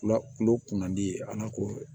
Kula kulo kun man di ye a n'a ko